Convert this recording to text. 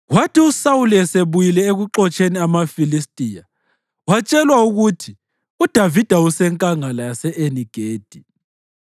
Kwathi uSawuli esebuyile ekuxotsheni amaFilistiya watshelwa ukuthi, “UDavida useNkangala yase-Eni-Gedi.”